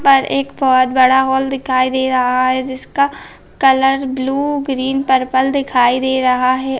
पर एक बहुत बड़ा हॉल दिखाई दे रहा है जिसका कलर ब्लू ग्रीन पर्पल दिखाई दे रहा हैं।